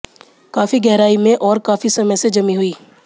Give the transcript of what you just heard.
काफी गहराई में और काफी समय से जमी हुई